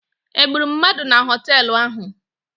Egburu mmadụ na họteelụ ahụ?